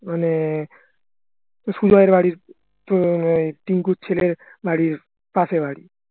মানে বাড়ির টিংকুর ছেলের বাড়ির পাশের বাড়ি